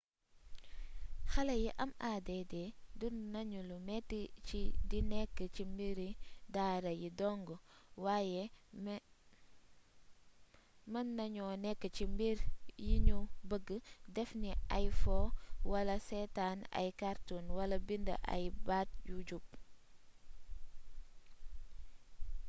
xalé yi am add dundu nagnu lu méti ci di nékk ci mbiri daara yi dongg waye meennagno nék ci mbir yinu beegg def ni ay foo wala séétan ay cartoons wala bind ay baat yu jub